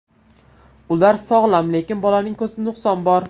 Ular sog‘lom, lekin bolaning ko‘zida nuqson bor.